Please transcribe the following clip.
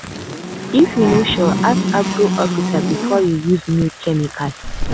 if you no sure ask agric officer before you use new chemical.